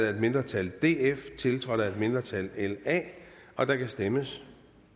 af et mindretal tiltrådt af et mindretal og der kan stemmes